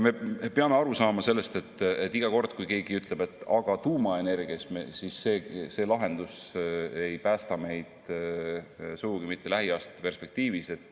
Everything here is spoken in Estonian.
Me peame aru saama, et iga kord, kui keegi ütleb, et aga tuumaenergia – paraku see lahendus ei päästa meid sugugi mitte lähiaastate perspektiivis.